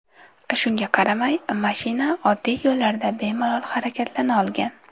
Shunga qaramay, mashina oddiy yo‘llarda bemalol harakatlana olgan.